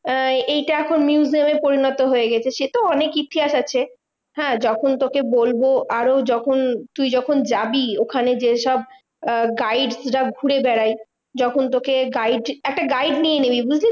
আহ এইটা এখন museum এ পরিণত হয়ে গেছে সেতো অনেক ইতিহাস আছে। হ্যাঁ যখন তোকে বলবো আরও যখন তুই যখন যাবি ওখানে যেসব আহ guides রা ঘুরে বেড়ায় যখন তোকে guide একটা guide নিয়ে নিবি, বুঝলি